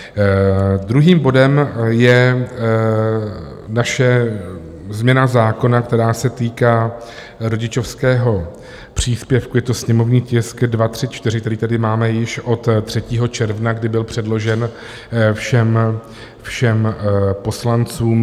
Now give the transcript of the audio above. Druhým bodem je naše změna zákona, která se týká rodičovského příspěvku, je to sněmovní tisk 234, který tedy máme již od 3. června, kdy byl předložen všem poslancům.